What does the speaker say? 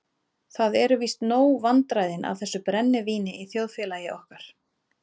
Það eru víst nóg vandræðin af þessu brennivíni í þjóðfélagi okkar.